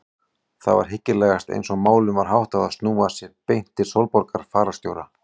Það var hyggilegast eins og málum var háttað að snúa sér beint til Sólborgar fararstjóra.